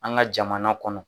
An ga jamana kɔnɔ